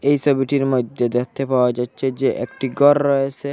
এই সবিটির মইদ্যে দেখতে পাওয়া যাচ্ছে যে একটি গর রয়েসে।